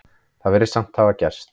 Það virðist samt hafa gerst.